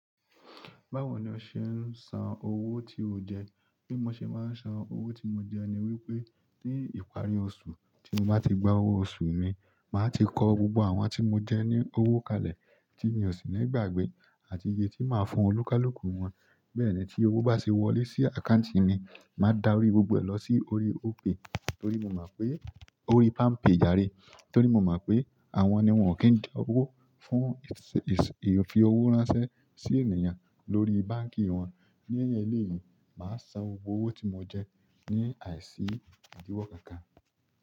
Báwo ni ó ṣe ń san owó tí o jẹ? Bí mo ṣe máa ń san owó tí mo jẹ ni wípé ní ìparí oṣù tí mo bá ti gba owó oṣù mi, màá ti kọ gbogbo àwọn tí mo jẹ ní owó kalẹ̀ tí mi ò sì ní ìgbàgbé àti iye tí màá fún oníkálúkùú wọn. Bẹ́ẹ̀ ni tí owó bá ṣe wọlé sí àkáùntì mi, màá darí gbogbo ẹ̀ lọ sí orí Opay, torí mo mọ̀ pé. Orí PalmPay jàre, torí mo mọ̀ pé àwọn ni wọ́n ò kí ń jẹ owó fún, èsì fi owó ránṣẹ́ sí ènìyàn lórí báǹkì wọn. Ní ẹ̀yẹn léèyín, màá san gbogbo owó tí mo jẹ ní àìsí ìdíwọ́ kankan.